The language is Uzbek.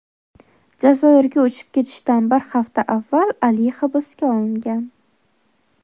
Jazoirga uchib ketishidan bir hafta avval Ali hibsga olingan.